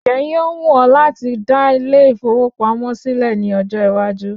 Ǹjẹ́ yíó wù ọ́ láti dá ilé ìfowópamọ́ sílẹ̀ ní ọjọ́ iwájú?